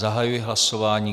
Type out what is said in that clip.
Zahajuji hlasování.